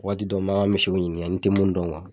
Waati dɔ n m'an ka ɲininka n tɛ mun dɔn